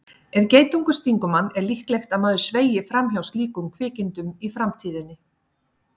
Ef geitungur stingur mann er líklegt að maður sveigi fram hjá slíkum kvikindum í framtíðinni.